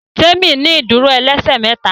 Temi ní ìdúró ẹlẹsẹ méta